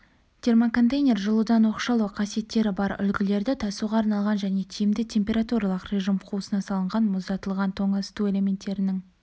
термоконтейнер жылудан оқшаулау қасиеттері бар үлгілерді тасуға арналған және тиімді температуралық режим қуысына салынған мұздатылған тоңазыту элементтерінің